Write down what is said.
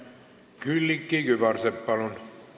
Külliki Kübarsepp, palun!